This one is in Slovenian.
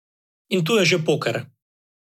In tu je že poker.